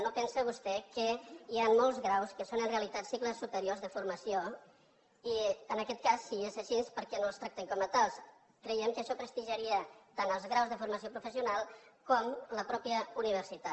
no pensa vostè que hi han molts graus que són en realitat cicles superiors de formació i en aquest cas si és així per què no els tractem com a tals creiem que això prestigiaria tant els graus de formació professional com la mateixa universitat